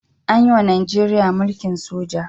An yiwa Najeriya mulkin soja.